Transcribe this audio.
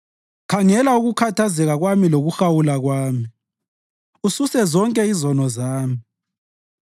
Khangela ukukhathazeka kwami lokuhawula kwami, ususe zonke izono zami.